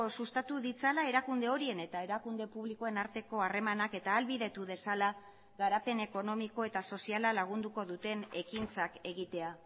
sustatu ditzala erakunde horien eta erakunde publikoen arteko harremanak eta ahalbidetu dezala garapen ekonomiko eta soziala lagunduko duten ekintzak egitea